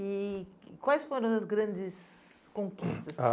E quais foram as grandes conquistas que